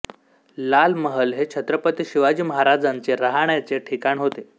लालमहाल हे छत्रपती शिवाजी महाराजांचे राहण्याचे ठिकाण होते